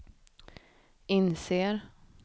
inser